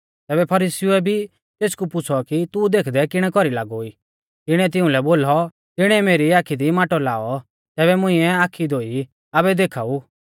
तैबै फरीसीउऐ भी तेसकू पुछ़ौ कि तू देखदै किणै कौरी लागौ ई तिणीऐ तिउंलै बोलौ तिणीऐ मेरी आखी दी माटौ लाऔ तैबै मुंइऐ आखी धोई ई आबै देखाऊ ऊ